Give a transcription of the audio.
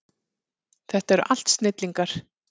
Þetta eru allt snillingar.